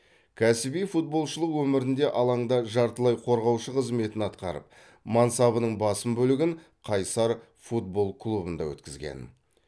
кәсіби футболшылық өмірінде алаңда жартылай қорғаушы қызметін атқарып мансабының басым бөлігін қайсар футбол клубында өткізген